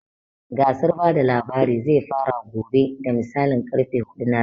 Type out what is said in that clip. Gasar bada labari zai fara gobe da misalin karfe huɗu na rana